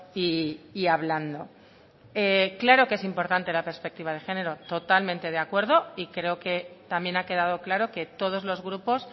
y hablando claro que es importante la perspectiva de género totalmente de acuerdo y creo que también ha quedado claro que todos los grupos